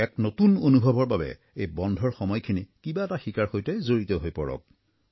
এক নতুন অনুভৱৰ বাবে এই বন্ধৰ সময়খিনি কিবা এটা শিকাৰ সৈতে জড়িত হৈ পৰক